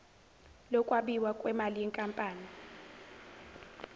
lokwabiwa kwemali yenkampani